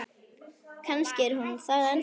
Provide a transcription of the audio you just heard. Kannski er hún það ennþá.